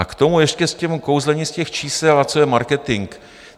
A k tomu ještě k tomu kouzlení z těch čísel a co je marketing.